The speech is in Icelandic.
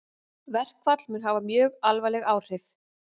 Verkfall mun hafa mjög alvarleg áhrif